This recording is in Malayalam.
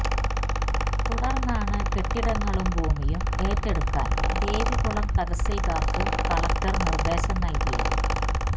തുടർന്നാണ് കെട്ടിടങ്ങളും ഭൂമിയും ഏറ്റെടുക്കാൻ ദേവികുളം തഹസിൽദാർക്ക് കളക്ടർ നിർദേശം നൽകിയത്